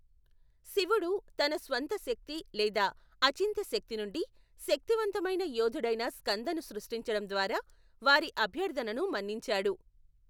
శివుడు, తన స్వంత శక్తి లేదా అచింత్య శక్తి నుండి శక్తివంతమైన యోధుడైన స్కందను సృష్టించడం ద్వారా వారి అభ్యర్థనను మన్నించాడు.